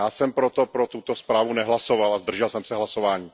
Já jsem proto pro tuto zprávu nehlasoval a zdržel jsem se hlasování.